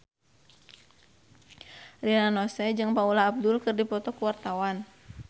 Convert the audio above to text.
Rina Nose jeung Paula Abdul keur dipoto ku wartawan